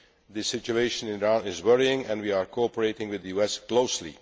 The situation in Iran is worrying and we are cooperating with the US closely.